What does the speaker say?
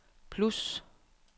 plus